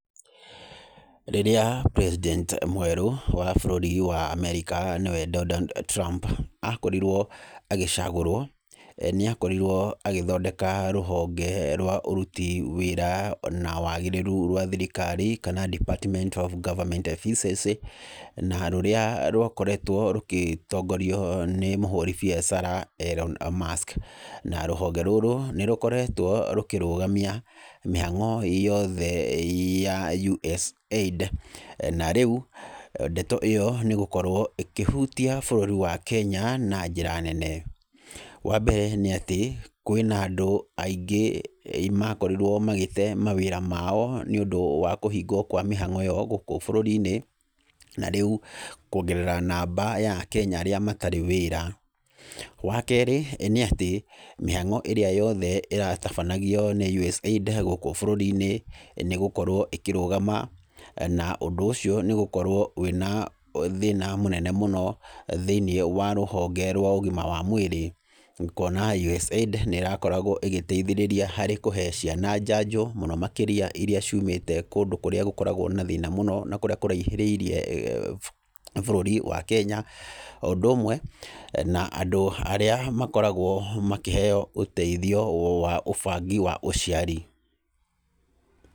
Rĩrĩa president mwerũ wa bũrũri wa America nĩwe Donald Trump akorirwo agĩcagũrwo, nĩ akorirwo agĩthondeka rũhonge rwa ũruti wĩra na wagĩrĩru rwa thirikari kana department of government efficiency, na rũrĩa rwakoretwo rũgĩtongorio nĩ mũhũri biacara Elon Musk. Na rũhonge rũrũ nĩ rũkoretwo rũkĩrũgamia mĩhang'o yothe ya USAID, na rĩu ndeto ĩyo nĩ ĩgũkorwo ĩkĩhutia bũrũri wa Kenya na njĩra nene. Wa mbere nĩ atĩ, kwĩna andũ aingĩ makorirwo magĩte wĩra wao nĩũndũ wa kũhingwa kwa mĩhang'o ĩyo gũku bũrũri-inĩ, na rĩu kwongerera namba ya akenya arĩa matarĩ wĩra. Wa kerĩ nĩ atĩ, mĩhang'o ĩrĩa yothe ĩratabanagio nĩ USAID gũkũ bũrũri-inĩ nĩ ĩgũkorwo ĩkĩrũgama na ũndũ ũcio nĩ ũgũkorwo wĩna thĩna mũnene mũno thĩiniĩ wa rũhonge rwa ũgima wa mwĩrĩ, kuona USAID nĩ ĩrakoragwo ĩgĩteithĩrĩria harĩ kũhe ciana njajo mũno makĩria iria ciumĩte kũndũ kũrĩa gũkoragwo na thĩna mũno na kũrĩa kũraihĩrĩirie bũrũri wa Kenya, o ũndũ ũmwe na andũ arĩa makoragwo makĩheo ũteithio wa ũbangi wa ũciari.